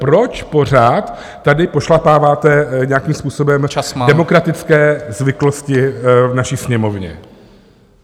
Proč pořád tady pošlapáváte nějakým způsobem demokratické zvyklosti v naší Sněmovně?